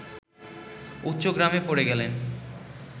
উচ্চগ্রামে পড়ে গেলেন